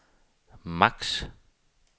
maks